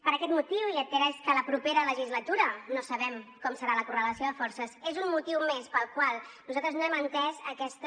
per aquest motiu i atès que la propera legislatura no sabem com serà la correlació de forces és un motiu més pel qual nosaltres no hem entès aquesta